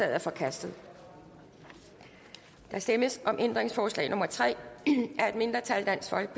er forkastet der stemmes om ændringsforslag nummer tre af et mindretal